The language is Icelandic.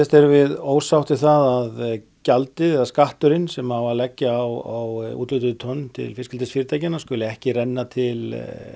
erum við ósátt við það að gjaldið eða skatturinn sem á að leggja á úthlutuð tonn til fiskeldisfyrirtækjanna skuli ekki renna til